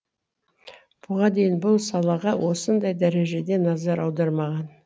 бұған дейін бұл салаға осындай дәрежеде назар аудармаған